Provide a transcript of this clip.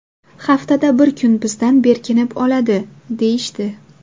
Haftada bir kun bizdan berkinib oladi, – deyishdi.